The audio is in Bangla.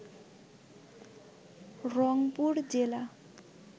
রংপুর জেলা